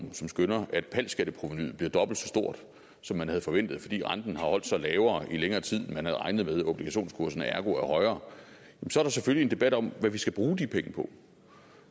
som skønner at pal skatteprovenuet bliver dobbelt så stort som man havde forventet fordi renten har holdt sig lavere i længere tid end man havde regnet med og obligationskurserne ergo er højere så selvfølgelig debat om hvad vi skal bruge de penge på